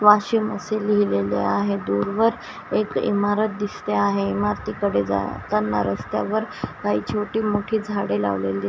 वाशीम असे लिहिलेले आहे दूरवर एक इमारत दिसते आहे इमारतीकडे जाताना रस्त्यावर काही छोटी मोठी झाडे लावलेली--